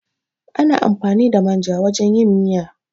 Ana amfani da manja wajan yin miya